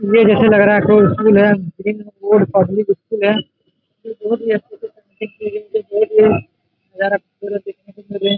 यह जैसे लग रहा है कोई स्कूल है ग्रीन वुड पब्लिक स्कूल है ये बहुत ही अच्छा से ।